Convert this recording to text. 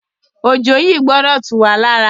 Òjò yìí gbọdọ̀ tú wá lára.